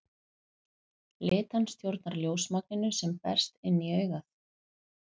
Litan stjórnar ljósmagninu sem berst inn í augað.